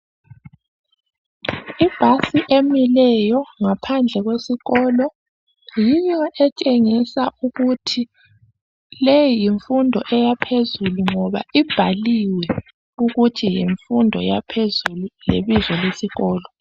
Ibhasi emileyo ngaphandle kwesikolo yiyo etshengisa ukuthi leyi yimfundo eyaphezulu ngoba ibhaliwe ukuthi yimfundo yaphezulu lebizo lesikolo.